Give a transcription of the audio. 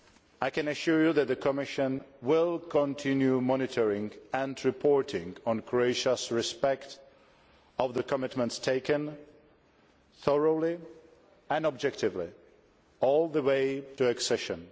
I can assure you that the Commission will continue monitoring and reporting on Croatia's respect of the commitments taken, thoroughly and objectively, all the way to accession.